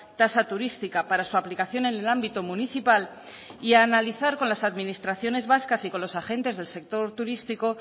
tasa turística para su aplicación en el ámbito municipal y a analizar con las administraciones vascas y con los agentes del sector turístico